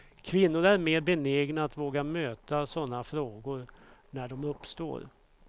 Kvinnor är mer benägna att våga möta såna frågor när de uppstår.